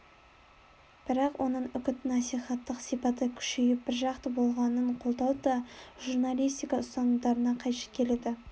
бірақ оның үгіт-насихаттық сипаты күшейіп біржақты болғанын қолдау да журналистика ұстанымдарына қайшы келеді